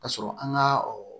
Ka sɔrɔ an ka